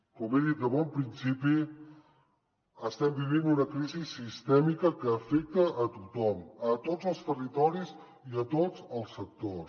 com he dit de bon principi estem vivint una crisi sistèmica que afecta a tothom a tots els territoris i tots els sectors